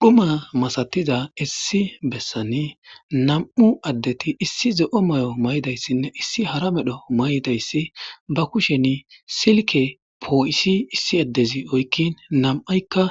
Dhuma masatiza issi bessani nam'u addeti issi ze'o mayo may'dayssinne issi hara medho may'dayssi ba kushen silke poo'isi issi addezi oykkin nam'aykka